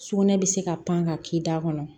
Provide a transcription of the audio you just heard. Sugunɛ bɛ se ka pan ka k'i da kɔnɔ